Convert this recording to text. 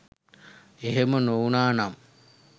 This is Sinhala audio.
එහෙම නොවුණා නම්